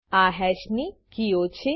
આ હેશ ની કીઓ છે